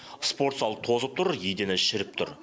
спортзал тозып тұр едені шіріп тұр